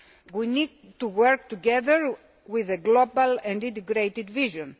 We need to work together with a global and integrated vision.